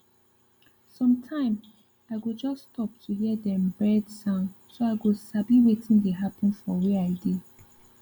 sometime i go just stop to hear dem bird sound so i go sabi wetin dey happen for where i dey